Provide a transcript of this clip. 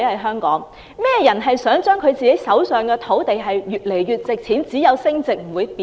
甚麼人想自己手上的土地越來越值錢，只有升值不會貶值？